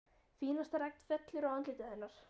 Fínasta regn fellur á andlitið hennar.